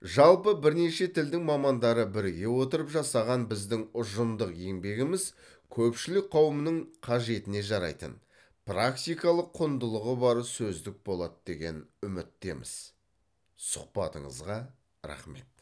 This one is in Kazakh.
жалпы бірнеше тілдің мамандары біріге отырып жасаған біздің ұжымдық еңбегіміз көпшілік қауымның қажетіне жарайтын практикалық құндылығы бар сөздік болады деген үміттеміз сұхбатыңызға рақмет